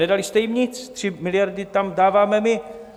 Nedali jste jim nic, 3 miliardy tam dáváme my.